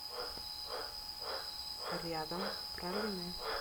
рядом пралине